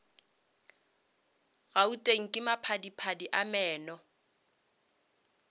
gauteng ka maphadiphadi a meno